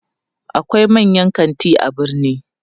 akwai manyan kanti a birni